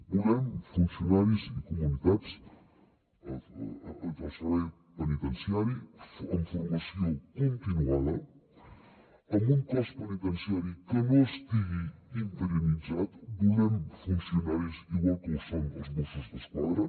volem funcionaris i comunitats del servei penitenciari amb formació continuada amb un cos penitenciari que no estigui interinitzat volem funcionaris igual que ho són els mossos d’esquadra